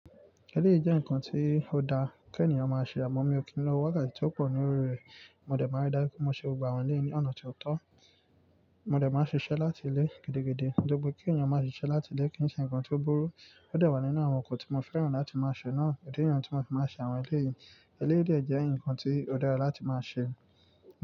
Eléyìí jẹ́ ǹkan tí ó dáa kí ènìyàn máa ṣe àmọ́ mí ò kí ń lọ wá káàkì tí ó pọ̀ ní orí rẹ̀. Mo dẹ̀ máa rí dájú pé mo ṣe ọgbà wọn léèé ní ọ̀nà tió tọ́. Mo dẹ̀ máa ṣiṣẹ́ láti ilé gidi-gidi, gbogbo kí ènìyàn máa ṣiṣẹ́ láti ilé kì ń ṣe ǹkan tí ó burú. Ó dé wà nínú àwọn nǹkan tí mo fẹ́ràn láti máa ṣe náà. Idi nìyàn tí mo ti máa ṣe àwọn eléyìí. Eléyìí dẹ̀ jẹ́ ǹkan tí ó dára láti máa ṣe.